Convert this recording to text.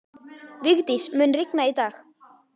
Vigdís, mun rigna í dag?